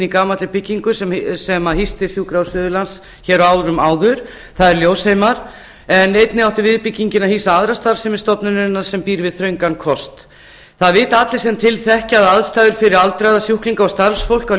í gamalli byggingu sem hýsti sjúkrahús suðurlands hér á árum áður það er ljósheimar en einnig átti viðbyggingin að hýsa aðra starfsemi stofnunarinnar sem býr við þröngan kost það vita allir sem til þekkja að aðstæður fyrir aldraða sjúklinga og starfsfólk á